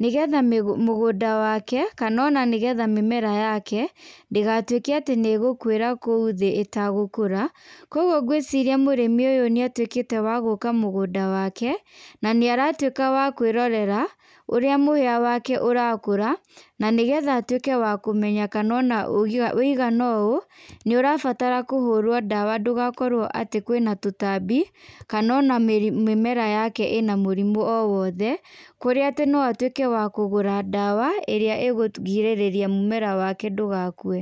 nĩgetha mũgũnda wake kana ona nĩgetha mĩmera yake ndĩgatuĩke atĩ nĩ gũkuĩra kũu thĩ ĩta gũkũra, kwoguo ngwĩciria mũrĩmi ũyũ nĩ atuĩkĩte wa gũka mũgũnda wake na nĩ aratuĩka wa kwĩrorera ũrĩa mũhĩa wake ũrakũra na nĩgetha atuĩke wa kũmenya ona wũigana ũũ nĩ ũrabatara kũhũrwo dawa ndũgakorwo atĩ kwĩna tũtambi kana ona mĩmera yake ĩna mũrimo o wothe kũrĩa atĩ no atuĩke wa kũgũra dawa ĩrĩa ĩkũgirĩrĩria mũmera wake ndũgakue.